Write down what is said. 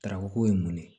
Tarako ye mun ye